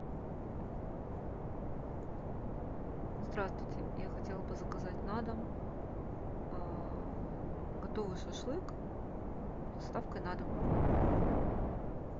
здравствуйте я хотела бы заказать на дом готовый шашлык с доставкой на дом